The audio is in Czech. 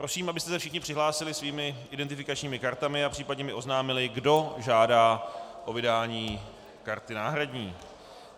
Prosím, abyste se všichni přihlásili svými identifikačními kartami a případně mi oznámili, kdo žádá o vydání karty náhradní.